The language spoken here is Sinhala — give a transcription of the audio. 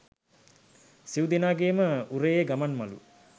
සිව් දෙනාගේම උරයේ ගමන්මලු